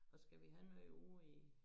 Og skal vi have noget ude i